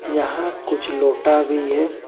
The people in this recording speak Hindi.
यहां कुछ लोटा भी है।